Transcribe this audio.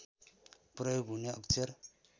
प्रयोग हुने अक्षर